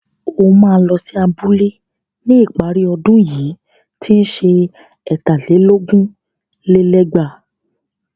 O máa lọ sí abúlé ní ìparí ọdún yìí tí ń ṣe ẹ̀tà lé lógún lé lẹ́gbàá.